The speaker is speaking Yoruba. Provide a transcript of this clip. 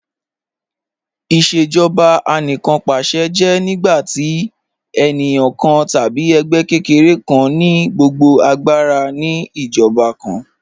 Ìṣèjọba Anìkanpàṣẹ jẹ́ nígbàtí ènìyàn kàn tàbí ègbẹ́ kẹ́kẹ̀rẹ̀ kàn ni gbogbo agbàra ni ìjọba kàn